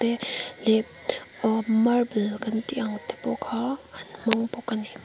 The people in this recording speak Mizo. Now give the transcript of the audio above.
ee hlep uh marble an tih ang te pawh kha an hmang bawk a ni.